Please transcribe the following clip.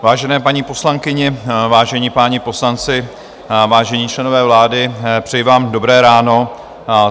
Vážené paní poslankyně, vážení páni poslanci, vážení členové vlády, přeji vám dobré ráno.